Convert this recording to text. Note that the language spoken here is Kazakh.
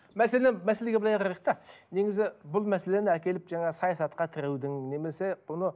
мәселе мәселеге былай қарайық та негізі бұл мәселені әкеліп жаңағы саясатқа тіреудің немесе бұны